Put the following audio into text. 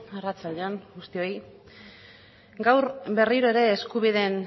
arratsalde on guztioi gaur berriro ere